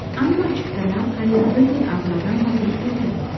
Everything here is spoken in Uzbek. Ammo chiptalar qariyb bir yil avvaldan sotilib ketadi.